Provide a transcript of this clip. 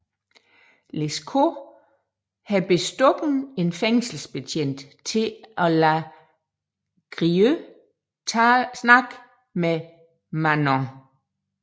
Lescaut har bestukket en fængselsbetjent til at lade Grieux tale med Manon